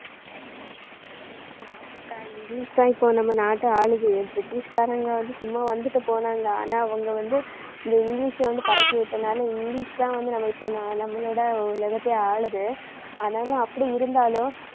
ஆமாக்கா இங்கிலிஷ் தான் இப்போ நம்ம நாட்டை ஆளுது பிரிட்டிஷ்காரங்க வந்து சும்மா வந்துட்டு போனாங்க, ஆனா அவங்க வந்து இந்த இங்கிலிஷை வந்து பரப்பிவிட்டதனால இங்கிலிஷ் தான் வந்து நம்ம இப்போ நா~ நம்மளோட உலகத்தையே ஆளுது ஆனாலும் அப்படி இருந்தாலும்